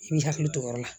I b'i hakili to o yɔrɔ la